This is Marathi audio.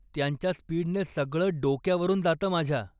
त्यांच्या स्पीडने सगळं डोक्यावरून जातं माझ्या.